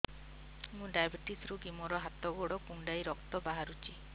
ମୁ ଡାଏବେଟିସ ରୋଗୀ ମୋର ହାତ ଗୋଡ଼ କୁଣ୍ଡାଇ ରକ୍ତ ବାହାରୁଚି